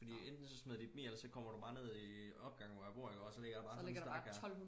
fordi enten så smider de dem i eller også så kommer du bare ned i øh opgangen hvor jeg bor ikke også og så ligger der bare sådan en stak her